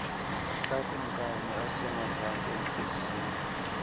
kakumkani osemazantsi entliziyo